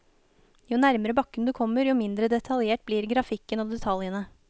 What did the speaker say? Jo nærmere bakken du kommer, jo mindre detaljert blir grafikken og detaljene.